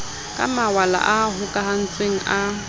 ka mawala a hokahantsweng a